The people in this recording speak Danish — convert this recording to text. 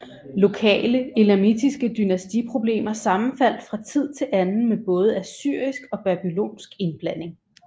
Lokale elamitiske dynastiproblemer sammenfaldt fra tid til anden med både assyrisk og babylonsk indblanding